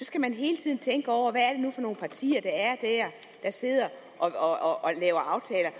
skal man hele tiden tænke over hvad det nu er for nogle partier der sidder og og laver aftaler